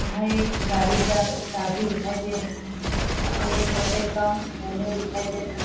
यहां एक गाड़ी का चाबी दिखाई दे रहा है ये होटल का न्यू दिखाई दे रहा है।